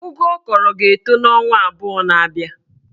Ụgụ ọ kọrọ ga-etọ n'ọnwa abụọ na-abịa